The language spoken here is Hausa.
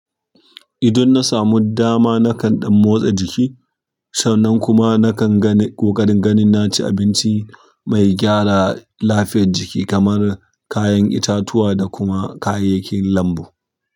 Idan na samu dama nakan ɗan motsa jiki sannan kuma na kan ganin, ƙoƙarin ganin na ci abinci mai gyara lafiyar jiki kamar kayan itatuwa da kuma kayayyakin lambu.